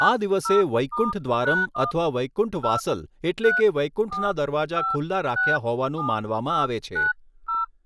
આ દિવસે 'વૈકુંઠ દ્વારમ' અથવા 'વૈકુંઠ વાસલ' એટલે કે વૈકુંઠના દરવાજા ખુલ્લા રાખ્યા હોવાનું માનવામાં આવે છે.